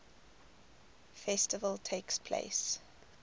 festival takes place